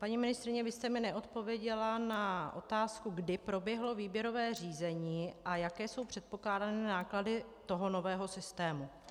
Paní ministryně, vy jste mi neodpověděla na otázku, kdy proběhlo výběrové řízení a jaké jsou předpokládané náklady toho nového systému.